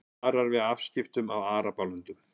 Varar við afskiptum af Arabalöndum